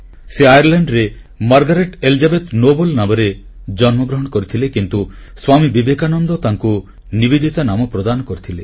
ସେ ଆୟାର୍ଲେଣ୍ଡରେ Margaret Elizabeth Noble Margaret Elizabeth Noble ନାମରେ ଜନ୍ମଗ୍ରହଣ କରିଥିଲେ କିନ୍ତୁ ସ୍ୱାମୀ ବିବେକାନନ୍ଦ ତାଙ୍କୁ ନିବେଦିତା ନାମ ପ୍ରଦାନ କରିଥିଲେ